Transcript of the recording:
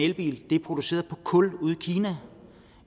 elbil er produceret på kul i kina